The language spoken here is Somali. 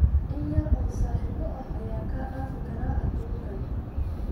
In yar oo saaxiibo ah ayaa kaa dhaafi kara adduunkan.